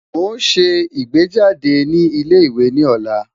Mo n ṣe igbejade ni ile-iwe ni ọla